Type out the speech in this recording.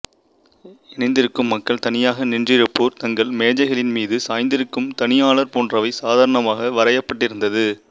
இணைந்திருக்கும் மக்கள் தனியாக நின்றிருப்போர் தங்கள் மேஜைகளின் மீது சாய்ந்திருக்கும் தனியாளர் போன்றவை சாதாரணமாக வரையப்பட்டிருந்தது